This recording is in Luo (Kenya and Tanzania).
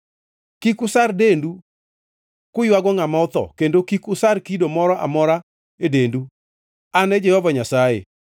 “ ‘Kik usar dendu kuywago ngʼama otho, kendo kik usar kido moro amora e dendu. An e Jehova Nyasaye.